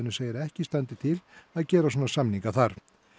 segir að ekki standi til að gera svona samninga þar